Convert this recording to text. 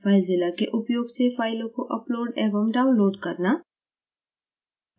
filezilla के उपयोग से फाइलों को upload एवं download करना